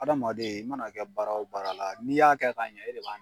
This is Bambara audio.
Hadamaden i mana kɛ baara o baara la n'i y'a kɛ ka ɲɛ e de b'a